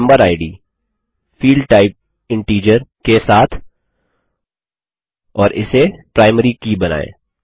member id field type integer के साथ और इसे प्राइमरी की बनायें